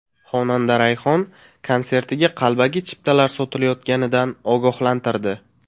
Xonanda Rayhon konsertiga qalbaki chiptalar sotilayotganidan ogohlantirdi.